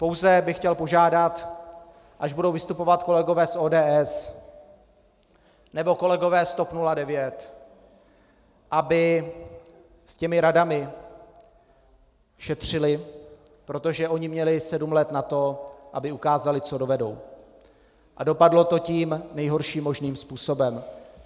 Pouze bych chtěl požádat, až budou vystupovat kolegové z ODS nebo kolegové z TOP 09, aby s těmi radami šetřili, protože oni měli sedm let na to, aby ukázali, co dovedou, a dopadlo to tím nejhorším možným způsobem.